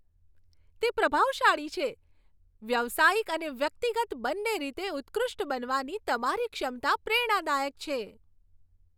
તે પ્રભાવશાળી છે. વ્યવસાયિક અને વ્યક્તિગત બંને રીતે ઉત્કૃષ્ટ બનવાની તમારી ક્ષમતા પ્રેરણાદાયક છે.